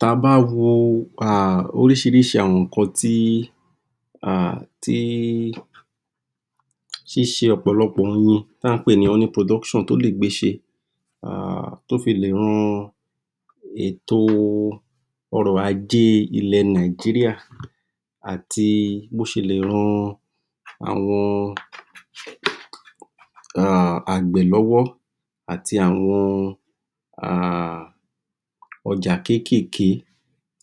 Ta bá wo um orísìírísìí àwọn ǹkan tí um ṣíse ọ̀pọ̀lọpọ̀ oyin tàn ń pè ní honey production tó lè gbé ṣe. um Tó fi le ran ètò ọrọ̀ ajé ilè Nigeria àti bó ṣe lè ran àwọn um àgbẹ̀ lọ́wọ́ àti àwọn ọjà kékèké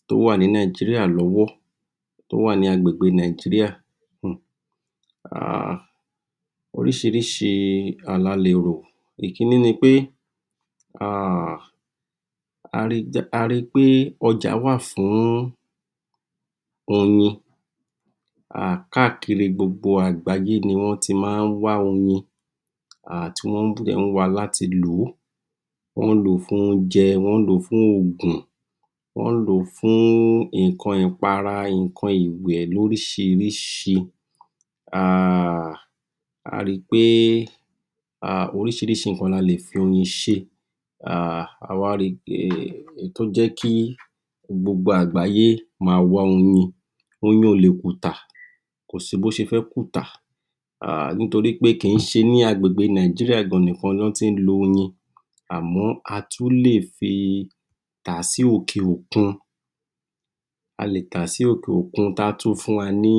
tó wà ní Nigeria lọ́wọ́, tó wà ní agbègbe Nigeria. um orísìírísìí la le rò ìkíní ni pé um a ri pé ọjà wà fún oyin. Káàkiri gbogbo àgbáyé ni wọ́n ti máa ń wa oyin. Tí wọ́n dẹ̀ ń wáa láti lòó. Wọ́n ń lòó fún oúnjẹ, wọ́n ń lòó fún òògùn. wọ́n ń lòó fún ǹkan ìpara, wọ́n ń lòó fún ǹkan ìwẹ̀ lórísìírísìí. um A ri pé orísìírísìí ǹkan la lè fi oyin ṣe. um A wá ri pé tó jẹ́ kí gbogbo àgbáyé maá oyin, oyin ò le kùtà, kòsí bó ṣe fẹ́ kùtà um Nítorípé kìí ṣe ní agbégbè Nigeria nìkan ni wọ́n ti ń lo oyin. Àmọ́ a tún lè fi tàá sí òkè òkun tá tún fún wa ní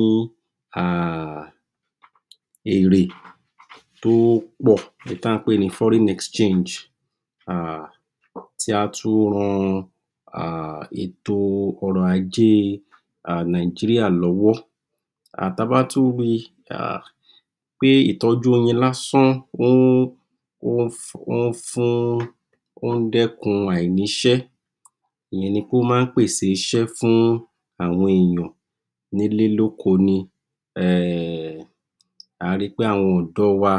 èrè tó pọ̀, tà ń pè ní foreign exchange um tí á tún ran ètò ọrọ̀ ajé Nigeria lọ́wọ́. Ta bá tún ri um pé ìtọ́jú oyin lásán ó ń fún um dẹ́kun àìníṣẹ́. Ìyẹn ni pé ó maá pèsè iṣẹ́ fún àwọn èyàn n'ílé l'óko ni .um A ri pé àwọn ọ̀dọ́ wa,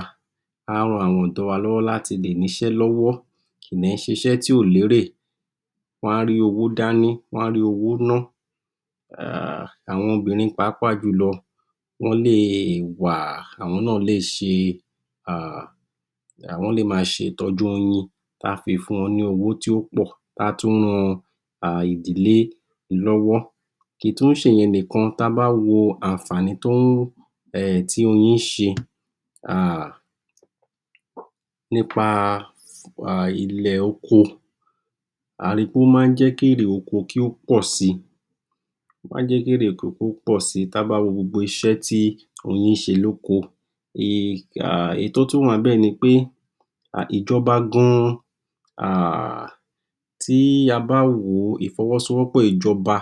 á ran àwọn ọ̀dọ́ wa láti le ní iṣẹ́ lọ́wọ́ kìí dẹ̀ ṣe iṣẹ́ tí ò lérè. Wọ́n á rí owó dání, Wọ́n á rí owó ná. Àwọn obìrin pàápàá jùlọ wọ́n lè wa, àwọn náà lè ṣe um Wọ́n lè máa ṣe ìtọ́jú oyin tá fi fún wọn ní owó tó pọ̀, tí á tún ran ìdílé lọ́wọ́. Kìí tún ṣe ìyẹn nìkan ta bá wo ànfàání t tí oyín ń ṣe um nípa ilẹ̀-oko. A ri pé ó maá jẹ́ kí èrè oko kó pọ̀si um, ta bá wo gbogbo iṣẹ́ tí oyin ń ṣe ní oko. um Ẹ̀yí tó tún wà níbẹ̀ nipé, ìjọba gan, tí a bá wòó ìfọwọ́sowópọ̀ ìjọba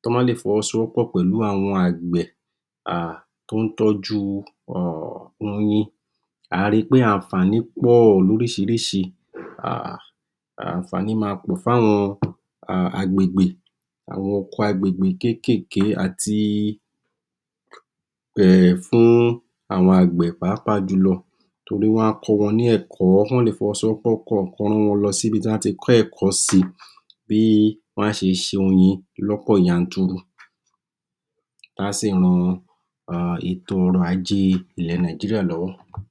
tí wọ́n bá lè fọwọ́sowópọ̀ pẹ̀lú àwọn àgbẹ̀ t'ọ́n tójú oyin. À ri pé ànfàání pọ̀ lorísìírísìí, ànfàání máa pọ̀ fún àwọn agbègbè, àwọn oko agbègbè, kékèké àti fún àwọn àgbẹ̀ pàápàá jùlọ. Torí wọ́n á kọ́ wọn ní ẹ̀kọ́. Wọ́n lè fọwọ́sowọ́pọ̀ k' ọ́n mú wọn s'íbí tí wọ́n á ti kọ́ ẹ̀kọ́ si, bí wọ́n á ṣe se oyin lọ́pọ̀ yanturu táà sì ran um ètò ọrọ̀ ajé Nigeria lọ́wọ́.